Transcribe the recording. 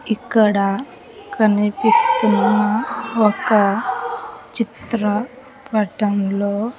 ఇక్కడ కనిపిస్తున్న ఒక చిత్రపటంలో.